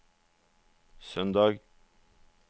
søndag